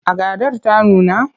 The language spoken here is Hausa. Agadar ta nuna?